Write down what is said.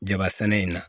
Jaba sɛnɛ in na